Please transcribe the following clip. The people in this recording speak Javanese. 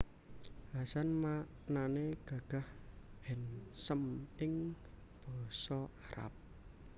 Hasan maknané gagah handsome ing Basa Arab